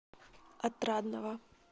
отрадного